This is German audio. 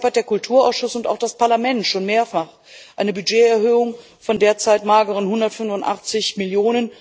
Deshalb haben der Kulturausschuss und auch das Parlament schon mehrfach eine Budgeterhöhung von derzeit mageren 185 Mio.